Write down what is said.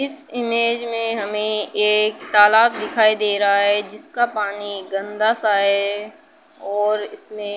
इस इमेज में हमें एक तालाब दिखाई दे रहा है जिसका पानी गन्दा सा है और इसमें --